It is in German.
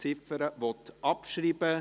Der Grosse Rat beschliesst: